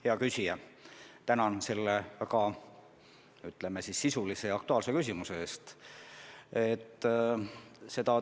Hea küsija, tänan selle väga sisulise ja aktuaalse küsimuse eest!